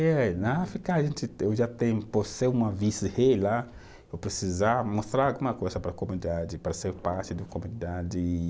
É, na África eu já tenho, por ser uma vice-rei lá, eu precisava mostrar alguma coisa para a comunidade, para ser parte da comunidade.